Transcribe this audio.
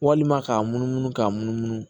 Walima k'a munumunu k'a munumunu